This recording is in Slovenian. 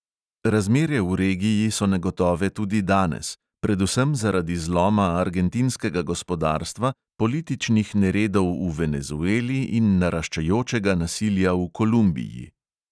Razmere v regiji so negotove tudi danes, predvsem zaradi zloma argentinskega gospodarstva, političnih neredov v venezueli in naraščajočega nasilja v kolumbiji.